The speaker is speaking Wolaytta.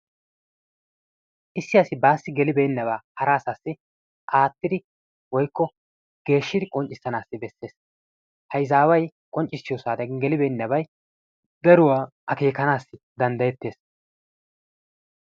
Issi asi bassi gelibenaba hara asasi attidi woykko geeshshidi qonccissanasi beesees. Ha izaway qonccissiyo saatiyan gelibeennabay daruwaa akeekanassi danddayetees.